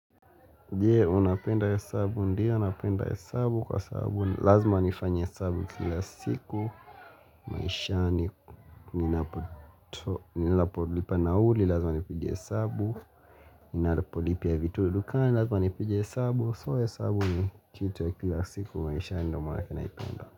Je, unapenda hesabu ndiyo napenda hesabu kwa sabu lazima nifanye hesabu kila siku maisha ni ninapolipa nauli lazima nipige hesabu Ninalapolipia vitudukani lazima nipige hesabu so ya hesabu ni kitu ya kila siku maisha ndo mana kenaipenda.